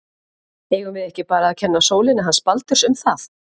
Eigum við ekki bara að kenna sólinni hans Baldurs um það?